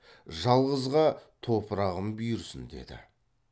жалғызға топырағым бұйырсын деді